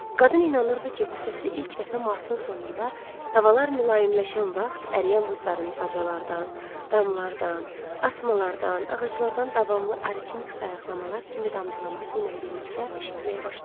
Qadın inanırdı ki, bu səsi ilk dəfə martın sonunda havalar mülayimləşən vaxt əriyən buzların bacalardan, damlardan, asmalardan, ağaclardan davamlı a ritmik sayıqlamalar kimi damcılaması ilə birlikdə eşitməyə başlayıb.